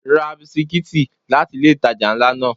Ra bisikítì láti ilé ìtajà ńlá náà.